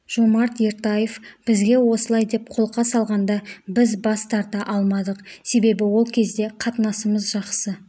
жомарт ертаев бізге осылай деп қолқа салғанда біз бас тарта алмадық себебі ол кезде қатынасымыз жақсы